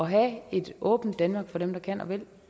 have et åbent danmark for dem der kan og vil